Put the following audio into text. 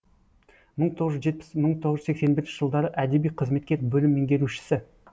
мың тоғыз жетпіс мың тоғыз жүз сексен бірінші жылдары әдеби қызметкер бөлім меңгерушісі